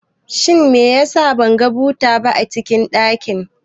Shin meyasa ban ga buta ba cikin banɗakin